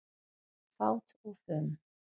Fát og fum